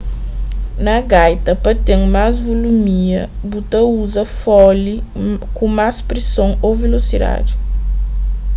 na gaita pa ten más vulumia bu ta uza fole ku más prison ô vilosidadi